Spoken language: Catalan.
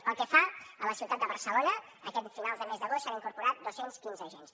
pel que fa a la ciutat de barcelona aquest finals de mes d’agost s’han incorporat dos cents i quinze agents